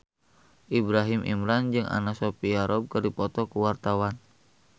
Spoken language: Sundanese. Ibrahim Imran jeung Anna Sophia Robb keur dipoto ku wartawan